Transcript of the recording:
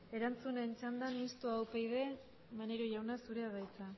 erantzunen txandan mistoa upyd maneiro jauna zurea da hitza